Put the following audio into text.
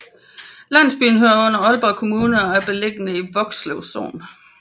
Landsbyen hører under Aalborg Kommune og er beliggende i Vokslev Sogn